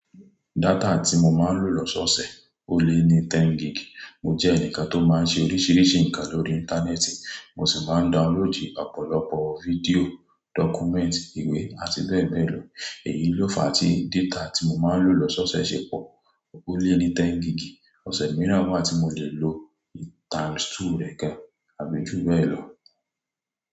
Dátà tí mo màa ń lò ní òsèòsè lè ní 10GB. Mo jẹ́ ẹnìkan tó máa ń ṣe oríṣiríṣi nǹkan lórí Íńtánẹ́ẹ̀tì, mo sì máa ń downloadì ọ̀pọ̀lọpọ̀ fídíò, dọ́kúmẹ́ǹtì, ìwé àti bẹ́ẹ̀ bẹ́ẹ̀ lọ. Èyí ló fa tí data tí mo máa ń lò lọ́sọ́ọ̀ọ̀sẹ̀ ṣe pọ̀, ó lé ní 10 gig. Ọ̀sẹ̀ mìíràn máa tí mo lè lo times two rẹ̀ ká, àbejú bẹ́ẹ̀ lọ.